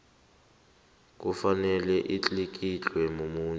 kufanele atlikitlwe mumuntu